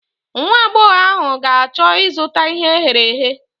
Nwagbọghọ ahụ ga-achọ ịzụta ihe e ghere eghe.